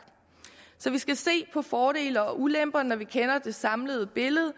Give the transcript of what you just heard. så vi skal se på fordele og ulemper når vi kender det samlede billede